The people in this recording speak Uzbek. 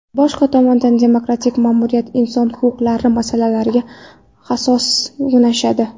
Boshqa tomondan, demokratik ma’muriyat inson huquqlari masalalariga hassos yondashadi.